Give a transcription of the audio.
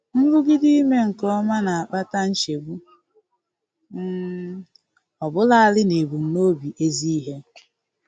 Nrụgide ime nke ọma na-akpata nchegbu, um ọbụlarị n'ebumnobi ezi ihe.